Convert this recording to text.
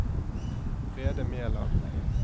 Brede Mæland